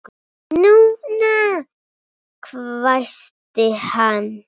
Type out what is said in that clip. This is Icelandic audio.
NÚNA! hvæsti hann.